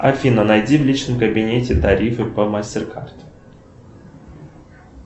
афина найди в личном кабинете тарифы по мастер кард